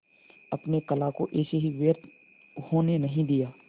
अपने कला को ऐसे ही व्यर्थ होने नहीं दिया